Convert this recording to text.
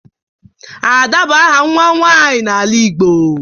Ada bụ áhà nwa nwanyị n'ala Igbo